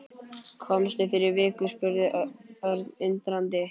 Komstu fyrir viku? spurði Örn undrandi.